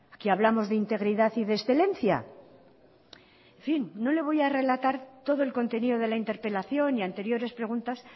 que hablamos de integridad y de excelencia en fin no le voy a relatar todo el contenido de la interpelación y anteriores preguntas